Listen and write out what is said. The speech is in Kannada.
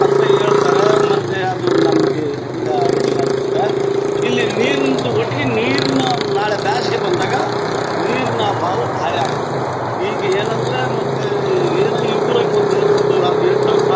ಅಲ್ಲಿ ಹೇಳ್ತಾರಾ ಅದು ಮತ್ತೆ ನಮ್ಗೆ ಹೆಂಗ ಐಡಿ ಆಗುತ್ತದೆ ಇಲ್ಲಿ ನೀರ್ ನಿಂತು ಒಟ್ಟಿಗೆ ನೀರಿನ ನಾಳೆ ಬ್ಯಾಚ್ಗೆ ಬಂದಾಗ ನೀರಿನ ಹಾಲು ಭಾರಿ ಆಯತು ಈಗ್ ಏನಂದ್ರೆ ಮತ್ತೆ ಏನೋ ಊರಾಗ್ ಒಂದು ಈಗ್ ಒಂದು ಎಂಟ್ ವರ್ಷ ಬಹಳ--